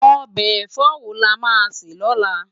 Òbe èfò wó lá má sè lólá?